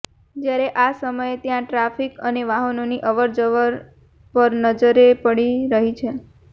જ્યારે આ સમયે ત્યાં ટ્રાફિક અને વાહનોની અવરજવર પર નજરે પડી રહી છે